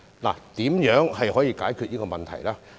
那麼如何解決水浸問題呢？